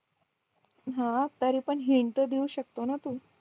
हा तरी पण हिंट तर देऊ शकतो ना तू